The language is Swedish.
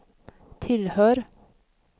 tillhör